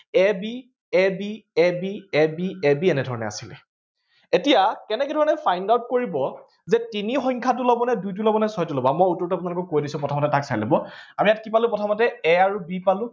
a bar ba bar ba b এনেধৰণে আছিলে এতিয়া কেনেকেধৰণে find out কৰিব যে তিনি সংখ্যাটো লব নে দুইটো লব নে ছয়টো, মই উত্তৰটো আপোনালোকক কৈ দিছো প্ৰথমতে তাক চাই লব আৰু ইয়াত কি পালো প্ৰথমতে a আৰু b পালো